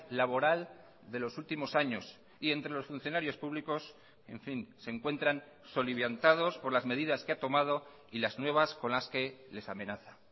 laboral de los últimos años y entre los funcionarios públicos en fin se encuentran soliviantados por las medidas que ha tomado y las nuevas con las que les amenaza